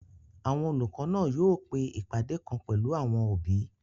Àwọn olùkọ́ náà yóò pe ìpàdé kan pẹ̀lú àwọn òbí